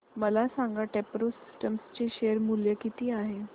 मला सांगा Techpro systems चे शेअर मूल्य किती आहे